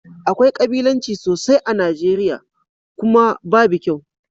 Akwai kabilanci sosai a Nijeriya, kuma babu kyau